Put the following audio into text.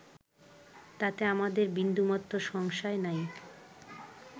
তাতে আমাদের বিন্দুমাত্র সংশয় নাই